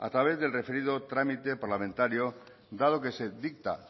a través del referido trámite parlamentario dado que se dicta